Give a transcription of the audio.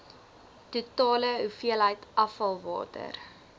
totale hoeveelheid afvalwater